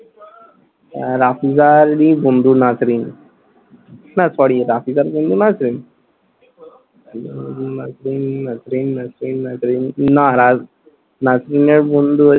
আহ রাফিজারই বন্ধু নাজরীন। না sorry রাফিজার বন্ধু নাজরীন! উহ নাজরীন নাজরীন নাজরীন নাজরীন, না না~ নাজরীনের বন্ধু